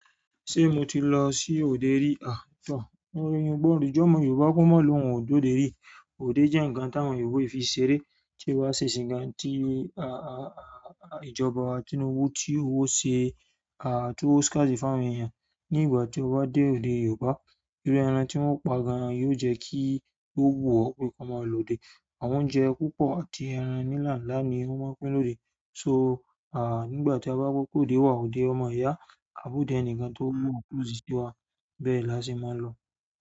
Ṣé mo ti lọ sí òde rí? Aà tor eyan o gbodo je ọmọ Yoruba ko molohun o de ode ri. Òde jẹ́ ǹkan tí àwọn Yorùbá o fi n ṣeré, tí o ba se isìǹ gan tí ìjọba wa Tinubu tí oun o ṣe to owo Skazi fún àwọn èèyàn. Ní ìgbà tí o bá dé òde Yorùbá, irú ẹran tí wọ́n pa gan-an yóò jẹ́ kí o wu o pé kọ́ máa lòde. Àwọn oúnjẹ púpọ̀ at ẹran ńlá ni won ma n pín lode so, à ní ìgbà tí a bá gbọ́ pé òde wà, òde o máa yá, à bodẹ ẹnìkan tó mọ̀ ọ́n pẹ̀lú ìṣíwà, bẹ́ẹ̀ laṣé máa lọ.